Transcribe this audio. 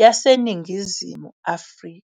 yaseNingizimu Afrika.